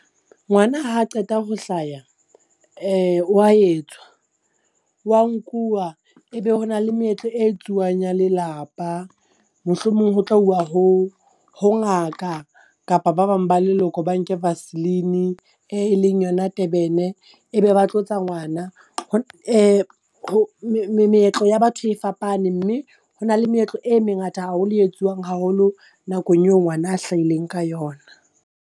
Ngwana ha qeta ho hlaya, wa etswa wa nkuwa, e be ho na le meetlo e etsuwang ya lelapa. Mohlomong ho tla uwa ho ho ngaka kapa ba bang ba leloko ba nke vaseline-e e eleng yona Durban-e e be ba tlotsa ngwana. Meetlo ya batho e fapane mme ho na le meetlo e mengata haholo e etsuwang haholo nakong eo ngwana a hlahileng ka yona.